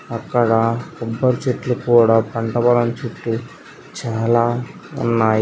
అక్కడా కొబ్బరి చెట్లు కూడా పంట పొలం చుట్టు చాల ఉన్నయ్.